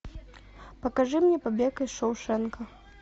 покажи мне побег из шоушенка